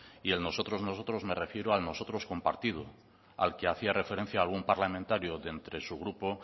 y en nosotros nosotros me refiero a nosotros como partido al que hacía referencia algún parlamentario de entre su grupo